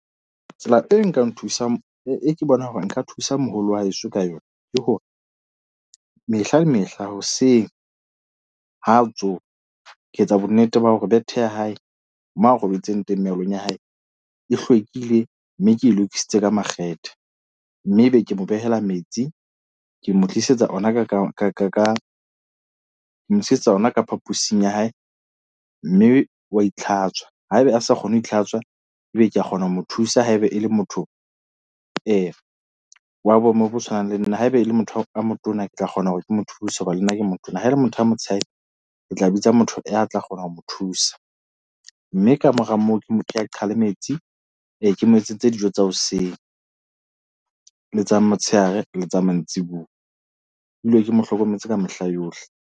Tsela e nka nthusang, e ke bonang hore nka thusa moholo wa heso ka yona ke hore mehla le mehla hoseng ha tsoha. Ke etsa bonnete ba hore bethe ya hae moo a robetseng teng, mealong ya hae e hlwekile mme ke lokisitse ka makgethe. Mme ebe ke mo behela metsi, ke mo tlisetsa ona ka ka ka ka ka ke mo isetsa yona ka phaposing ya hae. Mme wa itlhatswa haeba a sa kgone ho itlhatswa. Ebe ke a kgona ho mo thusa. Haeba e le motho wa boemo bo tshwanang le nna haebe e le motho e motona. Ke tla kgona hore ke mo thuse hoba le nna ke motona. Ha e le motho a motsheadi ke tla bitsa motho ya tla kgona ho mo thusa, mme kamora moo ke mo nke a qhale metsi. Ke mo etsetse dijo tsa hoseng le tsa motshehare le tsa mantsibuya. Ke dule ke mo hlokometse ka mehla yohle.